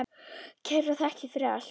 Kærar þakkir fyrir allt.